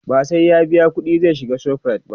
ba sai ya biya ƙuɗi zai shiga ShopRite ba